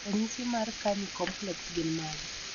ranyisi mar Carney complex gin mage?